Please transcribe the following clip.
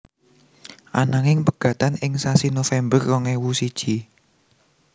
Ananging pegatan ing sasi November rong ewu siji